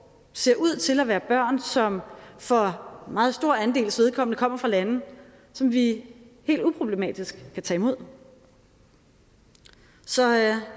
ser ud til at være børn som for meget stor andels vedkommende kommer fra lande som vi helt uproblematisk kan tage imod så